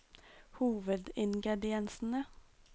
hovedingrediensene